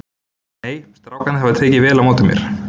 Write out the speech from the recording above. Nei, strákarnir hafa tekið vel á móti mér.